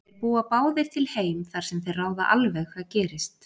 Þeir búa báðir til heim þar sem þeir ráða alveg hvað gerist.